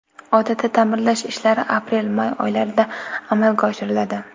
Odatda ta’mirlash ishlari aprelmay oylarida amalga oshiriladi.